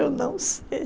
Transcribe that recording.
Eu não